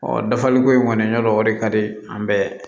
dafaliko in kɔni ya dɔn o de ka di an bɛɛ